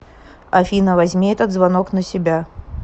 афина возьми этот звонок на себя